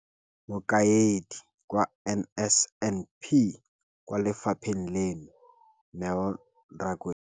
Mokaedi wa NSNP kwa lefapheng leno, Neo Rakwena,